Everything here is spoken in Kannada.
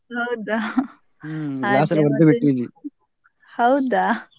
ಹೌದಾ? ಹೌದಾ?